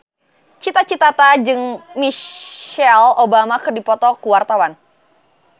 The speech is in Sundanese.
Cita Citata jeung Michelle Obama keur dipoto ku wartawan